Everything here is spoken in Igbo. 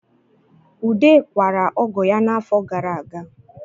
Ude kwara ọgọ ya n'afọ gara aga